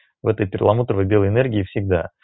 в этой перламутровый белой энергии всегда